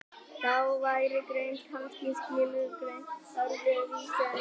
þá væri greind kannski skilgreind öðru vísi en nú er